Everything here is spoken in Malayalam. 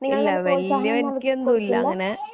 നിങ്ങൾ അവർക്കു പ്രോത്സാഹനം ഒന്നും കൊടുത്തില്ല